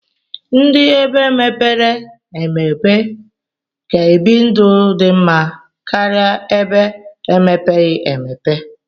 Ndi ebe mepere emeope ka ebi ndụ di mma karia ebe emepeghi emepe.